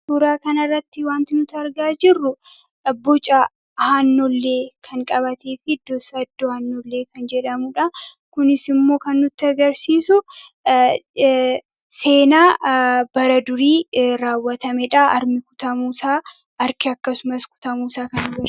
suuraa kana irratti wanti nui argaa jirru boca haannollee kan qabatee fi iddosaa iddoo haannollee kan jedhamuudha kunis immoo kan nutti agarsiisu seenaa bara durii raawwatamedha armi kutamuu isaa arki akkasumas kutamuusaa kan mul'isu